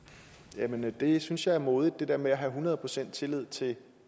jamen det synes jeg er modigt det der med at have hundrede procent tillid til